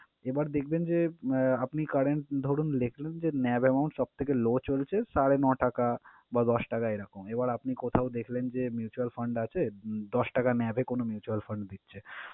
এবার দেখবেন যে আহ আপনি current ধরুন লিখলেন যে, NAV amount সব থেকে low চলছে সাড়ে ন টাকা বা দশ টাকা এরকম। এবার আপনি কোথাও দেখলেন যে mutual fund আছে দশ টাকা NAV এ mutual fund দিচ্ছে।